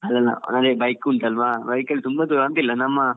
ಅಲ್ಲಾ ಅಲ್ಲಾ ನಂಗೆ bike ಉಂಟಲ್ಲಾ bike ಅಲ್ಲಿ ತುಂಬಾ ದೂರ ಅಂತಿಲ್ಲ ನಮ್ಮ